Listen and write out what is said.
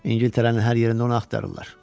İngiltərənin hər yerində onu axtarırlar.